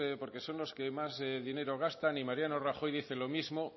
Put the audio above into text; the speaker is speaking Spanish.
porque son los que más dinero gastan y mariano rajoy dice lo mismo